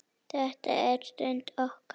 Þetta er okkar stund.